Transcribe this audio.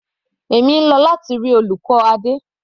Èmi ń lọ láti rí olùkọ́ Adé.